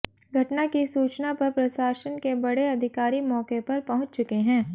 घटना की सूचना पर प्रशासन के बड़े अधिकारी मौके पर पहुंच चुके हैं